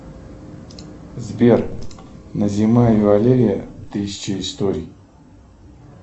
сбер назима и валерия тысяча историй